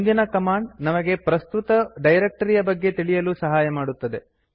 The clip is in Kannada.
ಮುಂದಿನ ಕಮಾಂಡ್ ನಮಗೆ ಪ್ರಸ್ತುತ ಡೈರಕ್ಟರಿಯ ಬಗ್ಗೆ ತಿಳಿಯಲು ಸಹಾಯ ಮಾಡುತ್ತದೆ